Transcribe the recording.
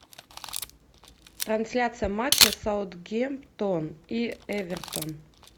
трансляция матча саутгемптон и эвертон